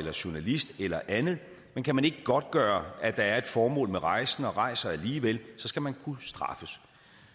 er journalist eller andet men kan man ikke godtgøre at der er et formål med rejsen og rejser man alligevel skal man kunne straffes